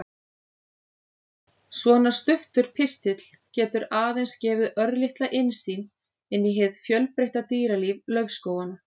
Svona stuttur pistill getur aðeins gefið örlitla innsýn inn í hið fjölbreytta dýralíf laufskóganna.